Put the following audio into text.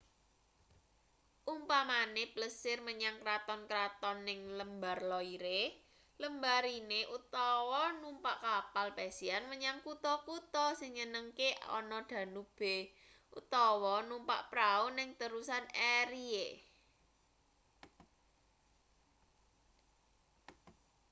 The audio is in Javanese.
umpamane plesir menyang kraton-kraton ning lembar loire lembah rhine utawa numpak kapal pesiar menyang kutha-kutha sing nyenengke ana danube utawa numpak prau ning terusan erie